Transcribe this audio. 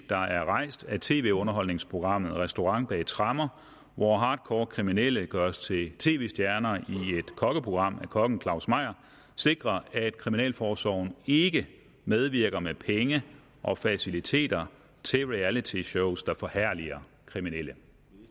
der er rejst af tv underholdningsprogrammet restaurant bag tremmer hvor hardcore kriminelle gøres til tv stjerner i et kokkeprogram af kokken claus meyer sikre at kriminalforsorgen ikke medvirker med penge og faciliteter til realityshows der forherliger kriminelle